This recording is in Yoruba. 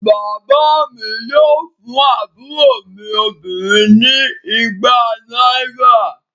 Bàbá mi yóò fún àbúrò mi obìnrin ni igba náírà.